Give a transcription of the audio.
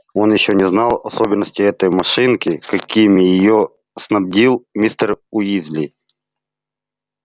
он ещё не знал особенностей этой машинки какими её снабдил мистер уизли